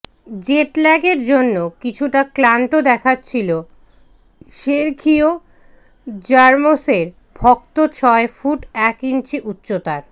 জেটল্যাগের জন্য কিছুটা ক্লান্ত দেখাচ্ছিল সের্খিয়ো র্যামোসের ভক্ত ছয় ফুট এক ইঞ্চি উচ্চতার